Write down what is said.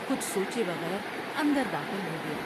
کچھ سوچے بغیر اندر داخل ہو گیا ۔